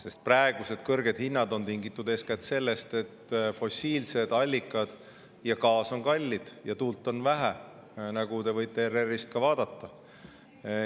Sest praegused kõrged hinnad on tingitud eeskätt sellest, et fossiilsed allikad ja gaas on kallid ja tuult on vähe, nagu te võite ka ERR‑ist vaadata.